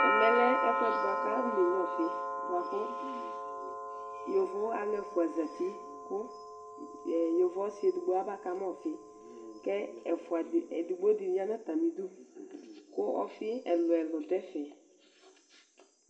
Ɛmɛlɛ ɛfʋɛdi bʋakʋ afɔ nenyua ɔfi kʋ yovo alʋ ɛfʋa zati kʋ yovo ɔsi edigbo aba kama ɔfi Kʋ edigbo di yanʋ atami idʋ kʋ ɔfi ɛlʋ ɛlʋ dʋ ɛfɛ